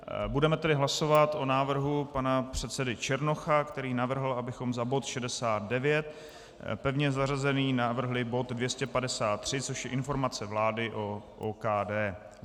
Budeme tedy hlasovat o návrhu pana předsedy Černocha, který navrhl, abychom za bod 69, pevně zařazený, navrhli bod 253, což je informace vlády o OKD.